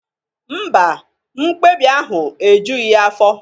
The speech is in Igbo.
Mba, mkpebi ahụ ejughị ya afọ